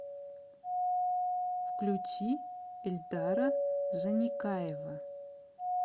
включи эльдара жаникаева